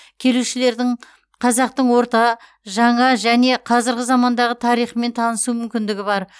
келушілердің қазақтың орта жаңа және қазіргі замандағы тарихымен танысу мүмкіндігі бар